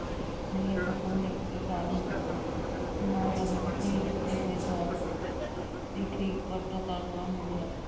ਨਹੀਂ ਸਗੋਂ ਨੇਕੀ ਕਾਰਨ ਦੀ ਦਿੱਤੀ ਦਾਤ ਦੀ ਠੀਕ ਵਰਤੋਂ ਕਰਨ ਨਾਲ ਮਿਲਿਆ।